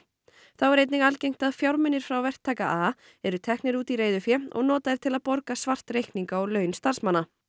þá er einnig algengt að fjármunir frá verktaka a eru teknir út í reiðufé og notaðir til að borga svart reikninga og laun starfsmanna